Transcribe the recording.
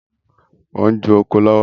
Mo ń ju oko lọ́wọ́